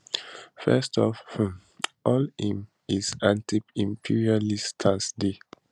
first of um all im his antiimperialist stance dey